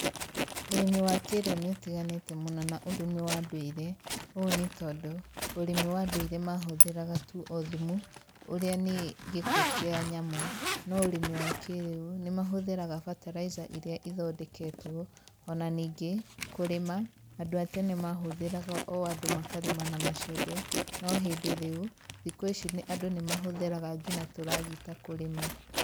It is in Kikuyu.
Ũrĩmi wa kĩrĩu ni utiganĩte mũno na ũrĩmi wa ndũire, o nĩ tondũ, ũrĩmi wa nduire mahũthagĩra tu o thumu ũrĩa nĩ gĩko kĩa nyamũ. No ũrĩmi wa kĩrĩu nĩ mahũthagĩra bataraica irĩa ithondeketwo. O na ningĩ, kũrĩma andũ a tene mahũthagĩra o andũ makarĩma na macembe no hĩndĩ rĩu, thikũ ici andũ nĩ mahũthagĩra nginya tũragita kũrĩma.